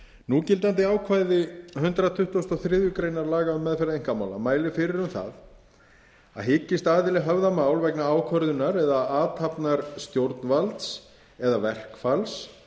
núgildandi ákvæði hundrað tuttugasta og þriðju grein um meðferð einkamála mælir fyrir um það að hyggist aðili höfða mál vegna ákvörðunar eða athafnar stjórnvalds eða verkfalls